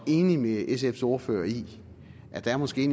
er enig med sfs ordfører i at der måske